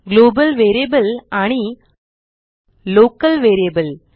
global variable आणि local variable